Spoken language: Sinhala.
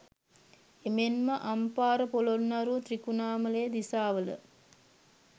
එමෙන්ම අම්පාර පොළොන්නරුව, ත්‍රිකුණාමලය දිසාවල